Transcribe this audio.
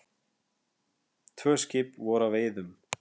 Tvö skip voru að veiðum.